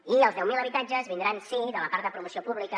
i els deu mil habitatges vindran sí de la part de promoció pública